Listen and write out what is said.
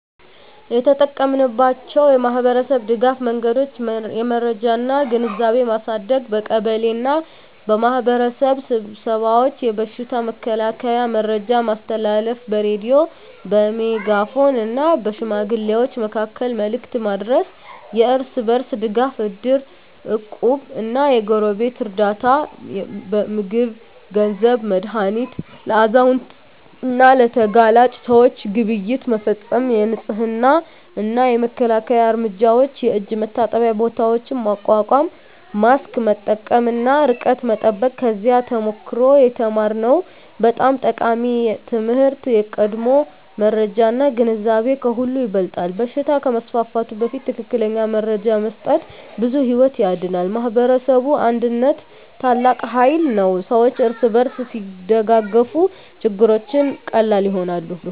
የተጠቀማችንባቸው የማኅበረሰብ ድጋፍ መንገዶች የመረጃ እና ግንዛቤ ማሳደግ በቀበሌ እና በማኅበረሰብ ስብሰባዎች የበሽታ መከላከያ መረጃ ማስተላለፍ በሬዲዮ፣ በሜጋፎን እና በሽማግሌዎች መካከል መልዕክት ማድረስ የእርስ በርስ ድጋፍ እድር፣ እቁብ እና የጎረቤት ርዳታ (ምግብ፣ ገንዘብ፣ መድሃኒት) ለአዛውንት እና ለተጋላጭ ሰዎች ግብይት መፈፀም የንፅህና እና መከላከያ እርምጃዎች የእጅ መታጠቢያ ቦታዎች ማቋቋም ማስክ መጠቀም እና ርቀት መጠበቅ ከዚያ ተሞክሮ የተማርነው በጣም ጠቃሚ ትምህርት የቀድሞ መረጃ እና ግንዛቤ ከሁሉ ይበልጣል በሽታ ከመስፋፋቱ በፊት ትክክለኛ መረጃ መስጠት ብዙ ሕይወት ያድናል። የማኅበረሰብ አንድነት ታላቅ ኃይል ነው ሰዎች እርስ በርስ ሲደጋገፉ ችግሮች ቀላል ይሆናሉ።